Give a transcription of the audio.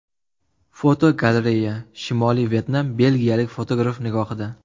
Fotogalereya: Shimoliy Vyetnam belgiyalik fotograf nigohida.